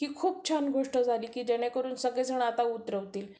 ही खूप छान गोष्ट झाली की जेणेकरून सर्वजण आता उतरवतील.